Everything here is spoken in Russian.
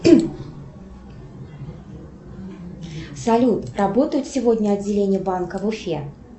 салют работают сегодня отделения банка в уфе